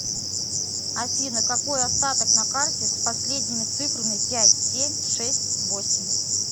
афина какой остаток на карте с последними цифрами пять семь шесть восемь